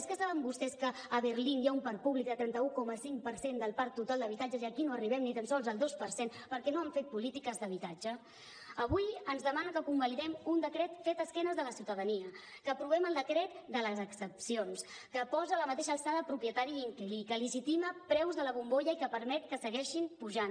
és que saben vostès que a berlín hi ha un parc públic del trenta un coma cinc per cent del parc total d’habitatges i aquí no arribem ni tan sols al dos per cent perquè no han fet polítiques d’habitatge avui ens demanen que convalidem un decret fet d’esquena a la ciutadania que aprovem el decret de les excepcions que posa a la mateixa alçada propietari i inquilí que legitima preus de la bombolla i que permet que segueixin pujant